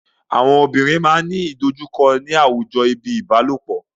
Àwọn obìnrin máa ńi àwọn ìdojúkọ ni àwùjọ bíi ìbálòpọ̀.